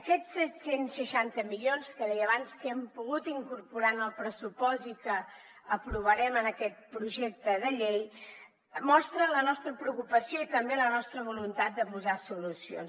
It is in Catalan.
aquests set cents i seixanta milions que deia abans que hem pogut incorporar en el pressupost i que aprovarem en aquest projecte de llei mostren la nostra preocupació i també la nostra voluntat de posar hi solucions